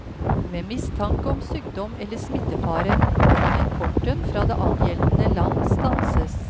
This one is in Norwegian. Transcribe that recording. Ved mistanke om sykdom eller smittefare kan importen fra det angjeldende land stanses.